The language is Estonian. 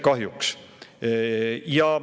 Kahjuks.